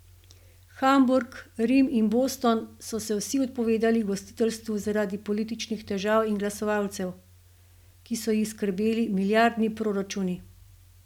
Hamburg, Rim in Boston so se vsi odpovedali gostiteljstvu zaradi političnih težav in glasovalcev, ki so jih skrbeli milijardni proračuni.